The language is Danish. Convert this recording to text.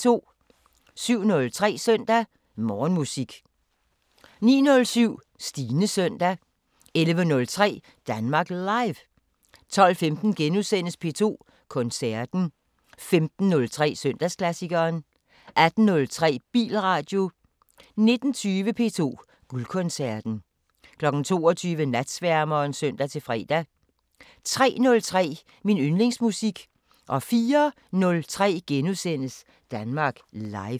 07:03: Søndag Morgenmusik 09:07: Stines søndag 11:03: Danmark Live 12:15: P2 Koncerten * 15:03: Søndagsklassikeren 18:03: Bilradio 19:20: P2 Guldkoncerten 22:00: Natsværmeren (søn-fre) 03:03: Min yndlingsmusik 04:03: Danmark Live *